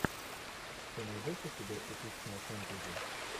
ты найдешь у себя эпичное фэнтези